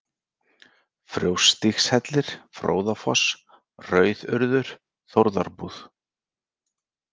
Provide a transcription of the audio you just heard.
Fjósstígshellir, Fróðafoss, Rauðurðir, Þórðarbúð